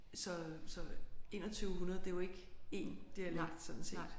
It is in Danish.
Så så 2100 det er jo ikke én dialekt sådan set